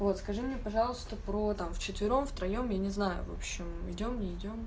вот скажи мне пожалуйста про там вчетвером втроём я не знаю в общем идём не идём